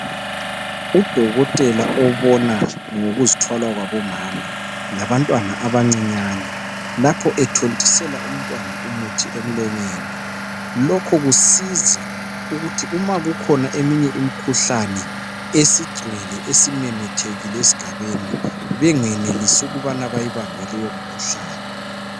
Udokotela obana ngokuzithwala kwabomama labantwana abancinyane lapho ethontisela umntwana umuthi emlonyeni lokhu kusiza ukuthi uma kukhona eminye imikhuhlane esingcwele esimemethekile esigabeni bengenilise ukubana bayibambe leyo mkhuhlane.